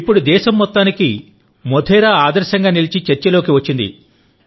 ఇప్పుడు దేశం మొత్తానికి మోధేరా ఆదర్శంగా నిలిచి చర్చలోకి వచ్చింది